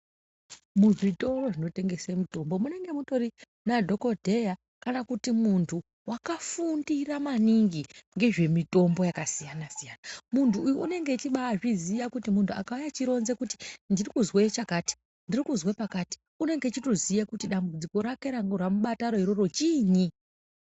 Muzvitoro zvinotengese mitombo munenge mutori nadhokodheya kana kuti muntu wakafundira maningi ngezvemitombo yakasiyana siyana. Muntu uyu unenge echibaizviziya kuti muntu akauya eironza kuti ndiri kuzwe chakati, ndiri kuzwe pakati unenge echitoziya kuti dambudziko rake ramubata iroro chiinyi.